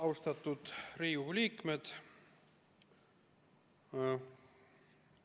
Austatud Riigikogu liikmed!